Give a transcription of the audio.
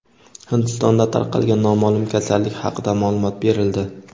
Hindistonda tarqalgan noma’lum kasallik haqida ma’lumot berildi.